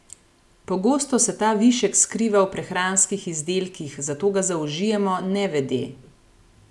Pogosto se ta višek skriva v prehranskih izdelkih, zato ga zaužijemo nevede.